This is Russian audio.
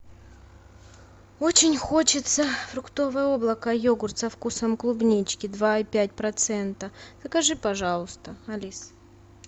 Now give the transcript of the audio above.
очень хочется фруктовое облако йогурт со вкусом клубнички два и пять процента закажи пожалуйста алис